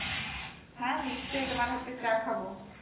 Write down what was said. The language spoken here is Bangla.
তা নিশ্চয়ই তোমার হাতের চা খাবো।